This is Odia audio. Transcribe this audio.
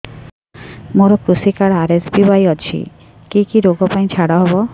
ମୋର କୃଷି କାର୍ଡ ଆର୍.ଏସ୍.ବି.ୱାଇ ଅଛି କି କି ଋଗ ପାଇଁ ଛାଡ଼ ହବ